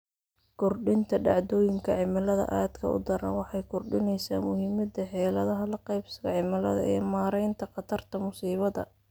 Kordhinta dhacdooyinka cimilada aadka u daran waxay kordhinaysaa muhiimada xeeladaha la qabsiga cimilada ee maaraynta khatarta musiibada.